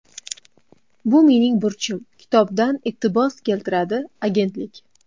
Bu mening burchim”, kitobdan iqtibos keltiradi agentlik.